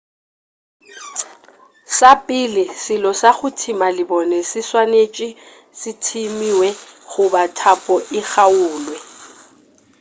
sa pele selo sa go thima lebone se swanetše se thimiwe goba thapo e kgaulwe